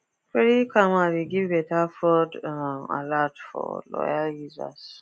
credit karma dey give better fraud um alert for loyal users